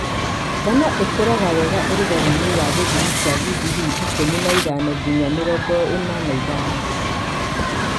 ngano ĩkũraga wega ũrugarĩinĩ wa gĩthimi kĩa gigirii ikũmi na ithano ngiya mĩrongo na ithano.